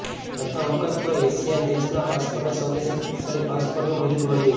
પ્રથમ વખત કોઇ એશિયન દેશના પાસપોર્ટને સૌથી શક્તિશાળી પાસપોર્ટનું બિરુદ મળ્યે છે